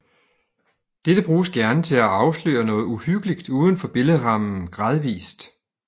Dette bruges gerne til at afsløre noget uhyggeligt uden for billedrammen gradvist